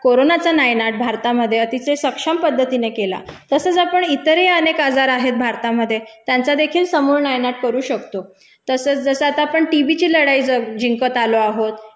कोरोनाचा नायनाट भारतामधे अतिशय सक्षम पद्धतीने केला तसचं आपण इतरही अनेक आजार आहेत भारतामधे त्यांचादेखील समूळ नायनाट करू शकतो, तसचं जसं आता आपण टीबीची लढाई जिंकत आलो आहोत,